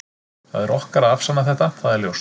Það er okkar að afsanna þetta, það er ljóst.